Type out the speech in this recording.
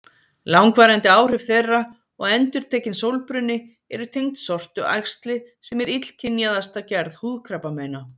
Langvarandi áhrif þeirra og endurtekinn sólbruni eru tengd sortuæxli sem er illkynjaðasta gerð húðkrabbameina.